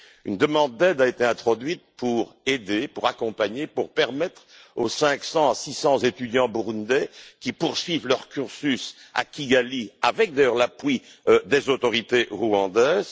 Une demande d'aide a été introduite pour permettre aux 500 à 600 étudiants burundais de poursuivre leur cursus à Kigali avec d'ailleurs l'appui des autorités rwandaises.